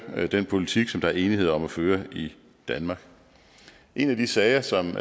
den politik som der er enighed om at føre i danmark en af de sager som